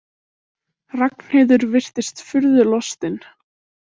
Ragnheiður virtist furðu lostin.